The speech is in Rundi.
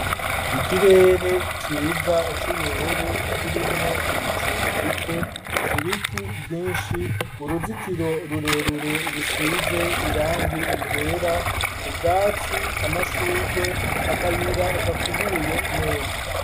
Ikirere ciza, c'ubururu, kirimwo ibicu bike; ibiti vyinshi, uruzitiro rurerure, rusize irangi ryera, ubwatsi, amashurwe, akayira gakubuye neza.